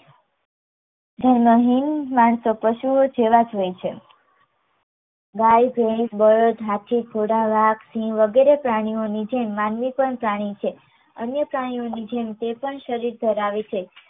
ધર્મહીન માણસો પશુઓ જેવા જ હોય છે. ગાય, ભૈંસ, બળદ, હાથી, ઘોડા, વાઘ, સિંહ વગેરે પ્રાણીઓની જેમ માનવી પણ પ્રાણી છે અન્ય પ્રાણીઓની જેમ તે પણ શરીર ધરાવે છે